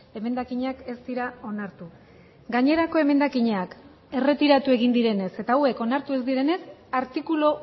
emendakinak ez dira onartu gainerako emendakinak erretiratu egin direnez eta hauek onartu ez direnez artikulu